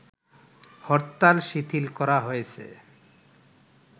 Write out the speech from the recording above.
হরতাল শিথিল করা হয়েছে